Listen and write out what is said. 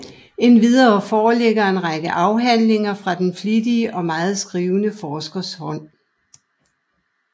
Endvidere foreligger en række afhandlinger fra den flittige og meget skrivende forskers hånd